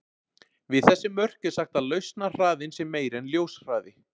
Við þessi mörk er sagt að lausnarhraðinn sé meiri en ljóshraði.